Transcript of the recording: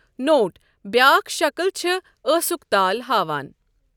note بیاكھ شكِل چھےٚ ٲسُک تال ہاوان